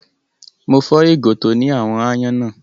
Mo fọ́ ìgò tó ní àwọn aáyán náà.